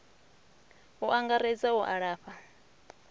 u angaredza a u lafha